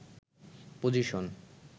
position